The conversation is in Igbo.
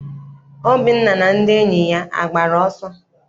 Obinna na ndị enyi ya agbara ọsọ?